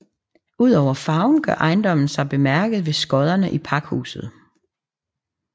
Udover farven gør ejendommen sig bemærket ved skodderne i pakhuset